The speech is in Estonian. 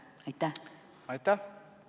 Aitäh!